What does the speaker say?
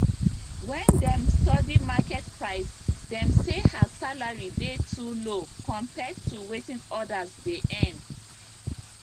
when dem study market price dem say her salary dey too low compared to wetin others dey earn